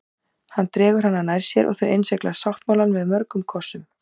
Hann dregur hana nær sér og þau innsigla sáttmálann með mörgum kossum.